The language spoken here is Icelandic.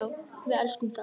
Við elskum þá.